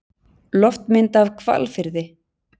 loftmynd af hvalfirði